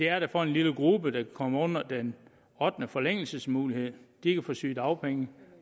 er det for en lille gruppe der kommer under den ottende forlængelsesmulighed de kan få sygedagpenge